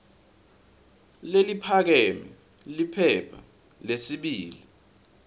leliphakeme liphepha lesibili